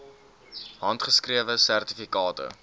handgeskrewe sertifikate